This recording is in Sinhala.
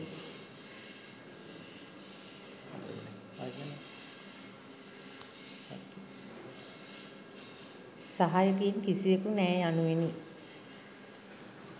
සහායකයින් කිසිවෙකු නෑ.’ යනුවෙනි.